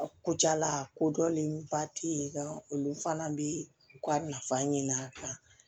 A ko jala kodɔnnen ba tɛ yen nka olu fana bɛ u ka nafa ɲin'a kan